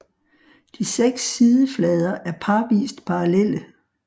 De seks sideflader er parvist parallelle